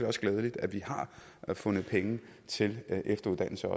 også glædeligt at vi har fundet penge til efteruddannelse